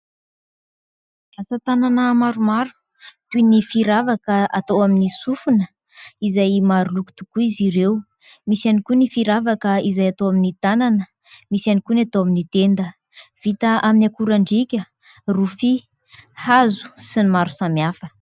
Asa tanana maromaro toy ny firavaka atao amin'ny sofina izay maro loko tokoa izy ireo. Misy ihany koa ny firavaka izay atao amin'ny tanana. Misy ihany koa ny atao amin'ny tenda, vita amin'ny akorandriaka, rofia, hazo sy ny maro samihafa.